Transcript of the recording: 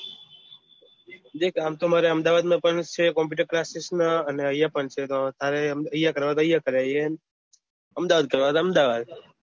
જે આપતો મારે અમદાવાદ માં માં પણ છે computer classes માં અને અયીયા પણ છે તો તારે અયીયા કરું હોય અમદાવાદ જવાનું હોય તો અમદાવાદ